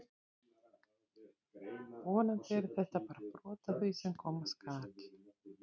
Vonandi er þetta bara brot af því sem koma skal!